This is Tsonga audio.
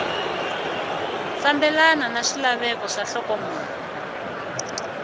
fambelana na swilaveko swa nhlokomhaka